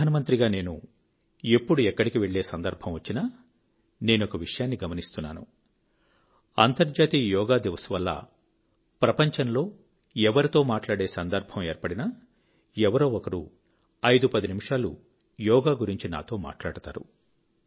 ప్రధానమంత్రి గా నేను ఎప్పుడు ఎక్కడికి వెళ్ళే సందర్భం వచ్చినా నేనొక విషయాన్ని గమనిస్తున్నాను అంతర్జాతీయ యోగ్ దివస్ వల్ల ప్రపంచంలో ఎవరితో మాట్లాడే సందర్భం ఏర్పడినా ఎవరో ఒకరు ఐదు పది నిమిషాలు యోగా గురించి నాతో మాట్లాడతారు